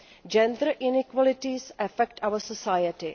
Gender inequalities affect our society.